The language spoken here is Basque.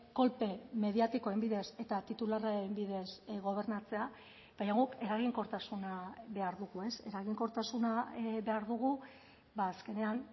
kolpe mediatikoen bidez eta titularren bidez gobernatzea baina guk eraginkortasuna behar dugu eraginkortasuna behar dugu azkenean